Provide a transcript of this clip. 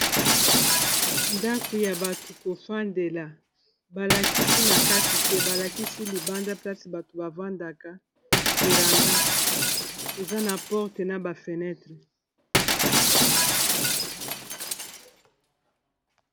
Ndako ya bato kofandela balakisi na kati te, balakisi libanda place bato bavandaka véranda, eza na porte na ba fenêtres.